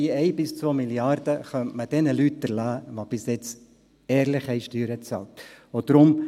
Diese 1–2 Mrd. Franken könnte man jenen Leuten erlassen, die bisher ehrlich Steuern bezahlt haben.